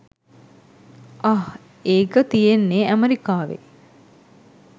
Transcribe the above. අහ් ඒක තියෙන්නේ ඇමරිකාවේ.